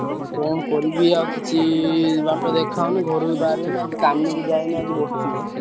ମୁଁ କଣ କରିବି ଆଉ କିଛି ବାଟ ଦେଖାଯାଉନି ଘରୁ ବି ବାହାରିହଉନି ଆଜି କାମୁକୁ ଯାଇନି ଆଜି ବସଚି ଘରେ।